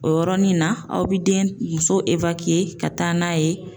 O yɔrɔnin na , aw bi den muso ka taa n'a ye.